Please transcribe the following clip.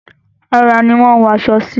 Ara ni wọ́n ń wọ aṣọ sí.